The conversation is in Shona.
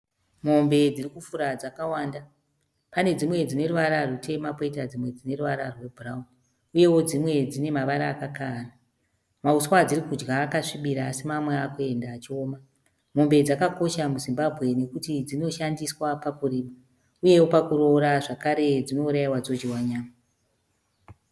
Mombe dzirikufura dzakawanda pane dzimwe dzine ruvara rutema poita dzimwe ruvara rwebhurauni . Uyewo dzimwe dzine mavara akakavana . Mahuswa adziri kudya akasvibira asi mamwe akuenda achioma. Mombe dzakakosha muZimbabwe nekuti dzinoshandiswa pakurima ,uyewo pakuroora zvakare dzinouraiwa dzodyiwa nyama .